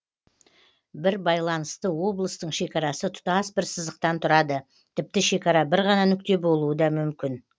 бір байланысты облыстың шекарасы тұтас бір сызықтан тұрады тіпті шекара бір ғана нүкте болуы да мүмкін